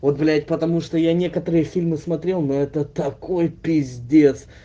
вот блять потому что я некоторые фильмы смотрел но это такой пиздец